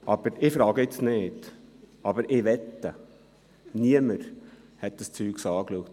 Ich stelle die Frage jetzt nicht, aber ich könnte wetten, dass niemand das angeschaut hat.